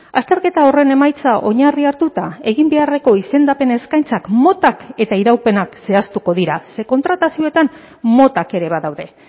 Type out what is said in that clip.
azterketa horren emaitza oinarri hartuta egin beharreko izendapen eskaintzak motak eta iraupenak zehaztuko dira ze kontratazioetan motak ere badaude